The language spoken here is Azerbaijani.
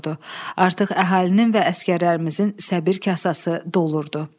Artıq əhalinin və əsgərlərimizin səbir kasası dolurdu.